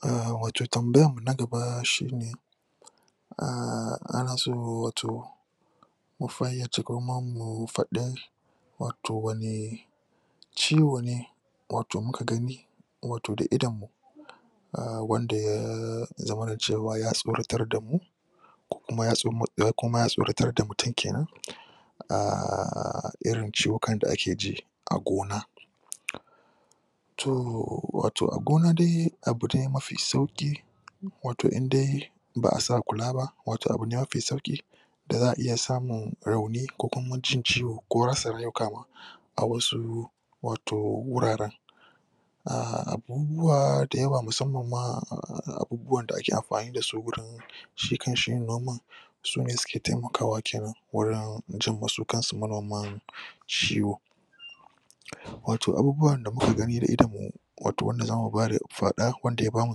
A wato tambayarmu na gaba shi ne a ana so wato mu fayyace kuma mu faɗi wato wane wane ciwo ne wato muka gani wato da idonmu wanda ya zamana cewa ya tsoratar damu ko kuma ya tsoratar da mutum ke nan a irin ciwukan da ake ji a gona. to wato a gona dai abu dai mafi sauƙi wato in dai ba a sa kula ba, wato abu ne mafi sauƙi da za a iya samun rauni ko kuma jin ciwo ko rasa rayuka ma a wasu wato wuraren. a abubuwa da yawa musamman ma abubuwan da ake amfani da su gurin shi kan shi yin noman sune suke taimakawa kenan wurin jimma su kansu manoman ciwo wato abubuwan da muka gani da idon mu wato wanda zamu faɗa wanda ya ba mu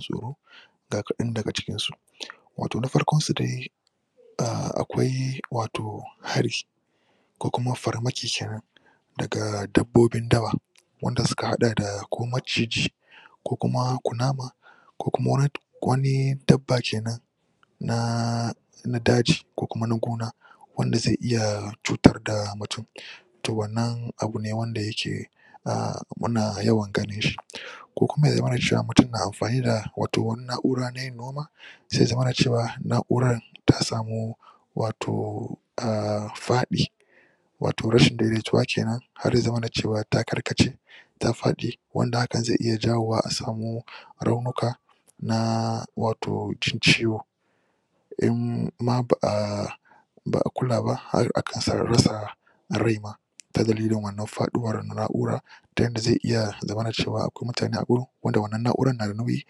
tsoro ga kaɗan daga cikinsu. Na farkon su dai A akwai wato hari ko kuma farmaki ke nan daga dabbobin dawa wanda suka haɗa da ko maciji ko kuma kunama ko kuma wani dabba ke nan na daji ko kuma na gona. wanda zai iya cutar da mutum. To wannan abu ne wanda yake a muna yawan ganin shi. ko kuma ya zamana cewa mutum na amfani da wata na'ura na yin noma zai zamana cewa na'urar ta samu wato a faɗi, wato rashin daidaituwa ke nan har ya zamana cewa ta karkace ta faɗi wanda hakan zai iya jawowa a samu raunuka. na wato jin ciwo. in ma ba a ba a kula ba har a kai da rasa rai ma. Ta dalilin wannan faɗuwar na'ura ta yanda zai iya zamana cewa akwai mutane a wurin wanda wannan na'urar na da nauyi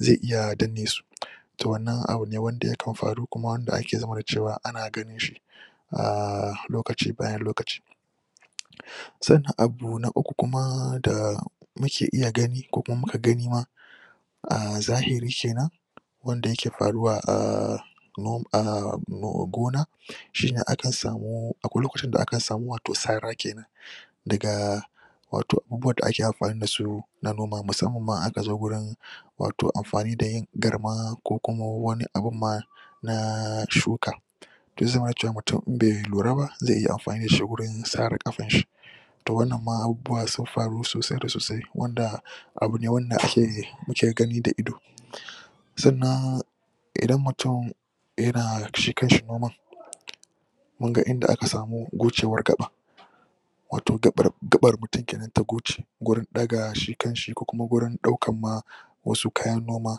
zai iya danne su. To wannan abu ne wanda yakan faru kuma wanda yake zamana cewa ana ganin shi. a lokaci bayan lokaci sannan abu na uku kuma da muke iya gani ko kuma muka gani ma a zahiri kanan wanda yake faruwa a a gona. shi ne akan samu, akwai lokacin da akan samu sara ke nan daga wato abubuwan da ake amfani da su na noma musamman ma idan aka zo wajen wato amfani da yin galma ko kuma wani abun ma na shuka to ya zamana cewa mutum idan bai lura ba zai iya amfani da shi wajen sare ƙafarshi to wannan ma abubuwan sun faru sosai da sosai wanda abu ne wanda ake muke gani da ido. sannan idan mutum yana shi kanshi noman, mun ga inda aka samu gocewar gaɓa. wato gaɓar mutum ke nan ta goce gurin ɗaga shi kanshi ko kuma gurin ɗaukar ma wasu kayan noma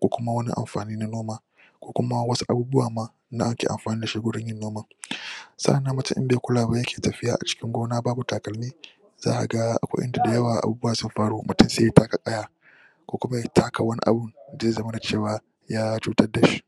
ko kuma wani amfani na noma ko kuma wasu abubuwan ma da ake amfani da su wajen yin noman. sa'an nan mutum in bai kula ba yake tafiya acikin gona babu talkalmi za a ga akwai in da da yawa abubuwa sun faru mutum sai ya taka ƙaya ko kuma ya taka wani abun da zai zamana cewa ya cutar da shi.